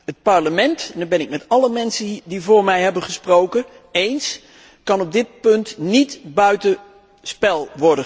Het Parlement, en dat ben ik met alle mensen die vóór mij hebben gesproken eens, kan op dit punt niet buiten spel